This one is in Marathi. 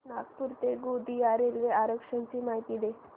नागपूर ते गोंदिया रेल्वे आरक्षण ची माहिती दे